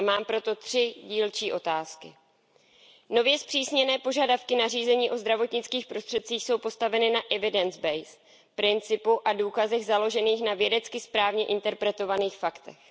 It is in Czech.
Mám proto tři dílčí otázky Za prvé, nově zpřísněné požadavky nařízení o zdravotnických prostředcích jsou postaveny na evidence based principu a důkazech založených na vědecky správně interpretovaných faktech.